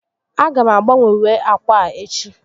A ga m agbanwe uwe ákwà a echi